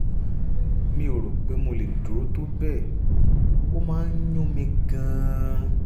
mi ò rò pé mo lè dúró tó bẹ́ẹ̀! ó máa ń yún mí gan-an